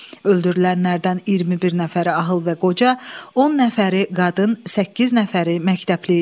Öldürülənlərdən 21 nəfəri ağıl və qoca, 10 nəfəri qadın, 8 nəfəri məktəbli idi.